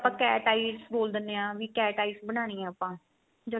ਆਪਾਂ cat eye ਬੋਲ ਦਿੰਦੇ ਆ ਵੀ cat eyes ਬਣਾਨੀ ਏ ਆਪਾਂ ਜਾਂ